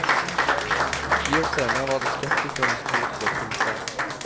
Ti år senere var det skeptikernes tur til å triumfere.